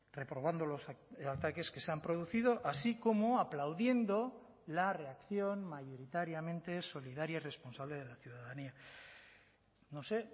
reprobando los ataques que se han producido así como aplaudiendo la reacción mayoritariamente solidaria y responsable de la ciudadanía no sé